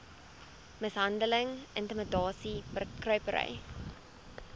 mishandeling intimidasie bekruipery